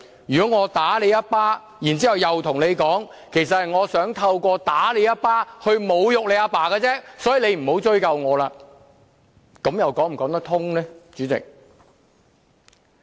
如果我打你一記耳光，然後跟你說其實我想透過打你一記耳光侮辱你的父親，所以你不要向我追究，主席，這又說得過去嗎？